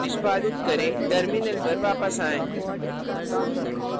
निष्पादित करें terminal पर वापस आएँ